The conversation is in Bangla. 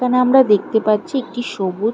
এখানে আমরা দেখতে পাচ্ছি একটি সবুজ --